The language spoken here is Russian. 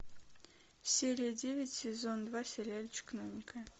серия девять сезон два сериальчик новенькая